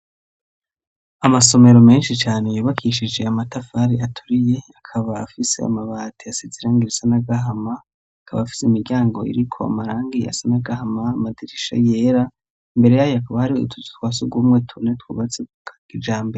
Amasomero menshi cane yubakishije amatafari aturiye, akaba afise amabati asize irangi risa n'agahama, akaba afise imiryango iriko marangi asa n'agahama, amadirisha yera, imbere yayo akaba ari utuzu twasugumwe tune twubatse kijambe.